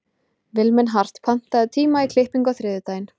Vilmenhart, pantaðu tíma í klippingu á þriðjudaginn.